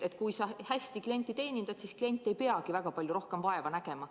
Kui sa hästi klienti teenindad, siis klient ei peagi väga palju rohkem vaeva nägema.